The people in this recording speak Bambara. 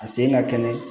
A sen ka kɛnɛ